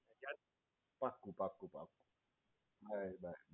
ચાલ પાક્કું પક્કું પક્કું બાય બાય.